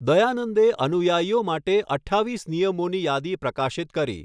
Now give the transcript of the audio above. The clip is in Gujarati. દયાનંદે અનુયાયીઓ માટે અઠ્ઠાવીસ નિયમોની યાદી પ્રકાશિત કરી.